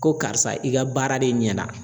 Ko karisa i ka baara de ɲɛna.